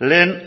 lehen